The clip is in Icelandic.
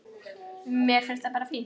Mér finnst það bara fínt.